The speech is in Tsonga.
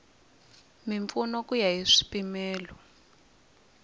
mimpfuno ku ya hi swipimelo